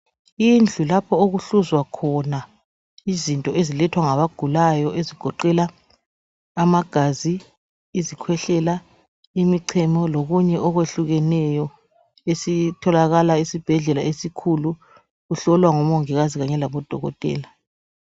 Indlu kapho okuhluzwa khona izinto ezilethwa ngabagulayo. Ezigoqela amagazi, izikhwehlela, imichemo, lokunye okwehlukeneyo. Esikuthola esibhedlela esikhulu. Kuhlolwa ngomongikazi kanye labodokotela.